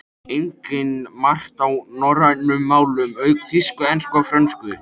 Einnig margt á norrænum málum, auk þýsku, ensku og frönsku.